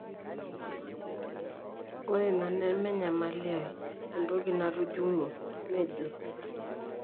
'Ore ina neme enyamali ai, entoki natujunguo,''nejo.